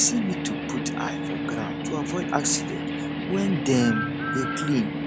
person need to put eye for ground to avoid accident when dem dey clean